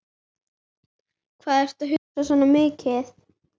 Hvað ertu að hugsa svona mikið?